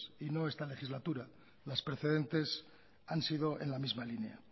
y no esta legislatura las precedentes han sido en la misma línea